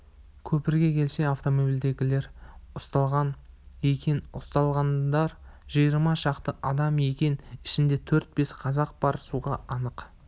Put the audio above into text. көпірге келсе автомобильдегілер ұсталған екен ұсталғандар жиырма шақты адам екен ішінде төрт-бес қазақ бар суға анық